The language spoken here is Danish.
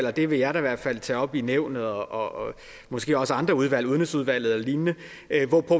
og det vil jeg da i hvert fald tage op i nævnet og måske også i andre udvalg udenrigsudvalget og lignende at